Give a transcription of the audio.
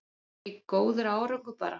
Er það ekki góður árangur bara?